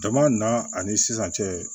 Dama na ani sisan cɛ